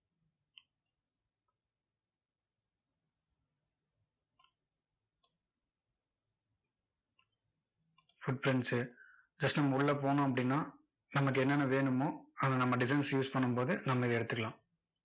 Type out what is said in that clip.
foot prints just நம்ம உள்ள போனோம் அப்படின்னா, நமக்கு என்ன என்ன வேணுமோ, அதை நம்ம designs use பண்ணும்போது நம்ம இதை எடுத்துக்கலாம்.